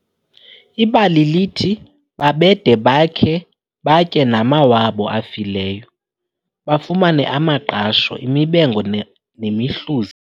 Ibali lithi babede bakhe batye namawabo afileyo, bafumane amaqasho, imibengo nemihluzi.